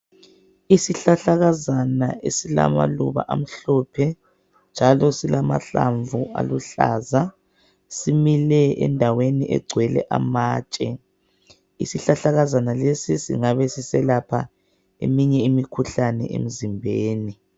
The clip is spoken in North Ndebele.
Isihlahlakazana esilamaluba amhlophe njalo silamahlamvu aluhlaza simile endaweni egcwele amatshe. Isihlahlakazana lesi singabe siselapha eminye imikhuhlane emzimbeni.